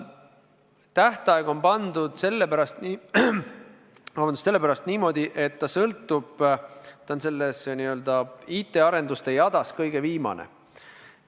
Tähtaeg on pandud sellepärast niimoodi, et see muudatus on IT-arenduste jadas kõige viimane.